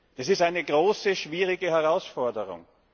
Es ist eine große, schwierige Herausforderung.